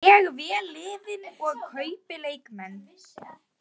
Ég vel liðið og kaupi leikmenn.